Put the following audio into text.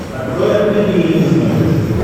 открой открытый мир на смотрешке